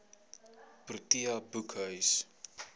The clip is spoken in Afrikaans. protea boekhuis